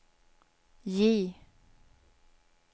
J